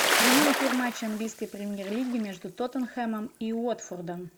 прямой эфир матча английской премьер лиги между тоттенхэмом и уотфордом